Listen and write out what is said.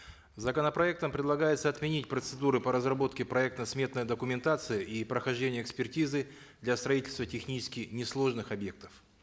законопроектом предлагается отменить процедуру по разработке проекта сметной документации и прохождения экспертизы для строительства технически несложных объектов